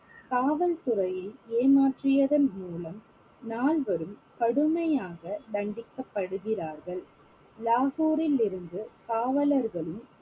காவல்துறையை ஏமாற்றியதன் மூலம் நால்வரும் கடுமையாக தண்டிக்கபடுகிறார்கள் லாகூரிலிருந்து காவலர்களும்